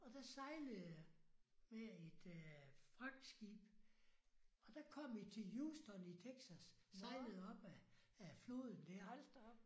Og der sejlede jeg med et fragtskib og der kom vi til Huston i Texas sejlede opad ad floden der